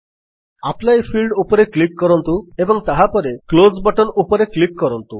apply field ଉପରେ click କରନ୍ତୁ ଏବଂ ତାହାପରେ କ୍ଲୋଜ୍ ବଟନ୍ ଉପରେ କ୍ଲିକ୍ କରନ୍ତୁ